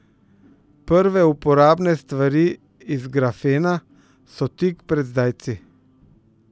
Prve uporabne stvari iz grafena so tik pred zdajci.